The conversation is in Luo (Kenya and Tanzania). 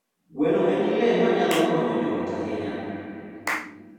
Gweno en le manyalo konyo joot ahinya.